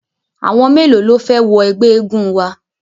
Àwọn mélòó ló fẹ́ wọ ẹgbẹ́ eégun wa?